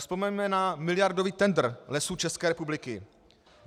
Vzpomeňme na miliardový tendr Lesů České republiky.